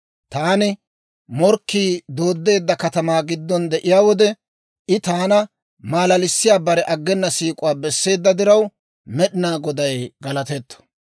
Taani morkkii dooddeedda katamaa giddon de'iyaa wode, I taana malalissiyaa bare aggena siik'uwaa besseedda diraw, Med'inaa Goday galatetto.